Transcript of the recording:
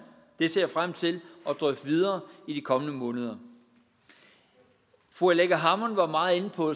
det ser jeg frem til at drøfte videre i de kommende måneder fru aleqa hammond var meget inde på